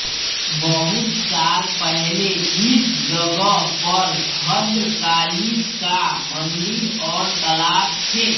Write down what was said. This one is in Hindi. बहुत साल पहले इस जगह पर भद्रकाली का मन्दिर और तालाब थे